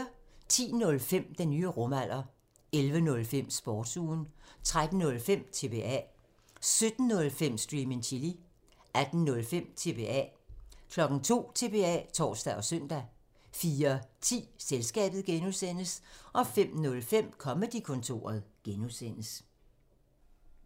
10:05: Den nye rumalder 11:05: Sportsugen 13:05: TBA 17:05: Stream and chill 18:05: TBA 02:00: TBA (tor og søn) 04:10: Selskabet (G) 05:05: Comedy-kontoret (G)